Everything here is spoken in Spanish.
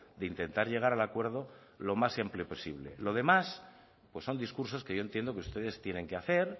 de intentar llegar al acuerdo lo más amplio posible lo demás pues son discursos que yo entiendo que ustedes tienen que hacer